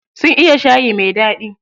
Sun iya shayi mai daɗi.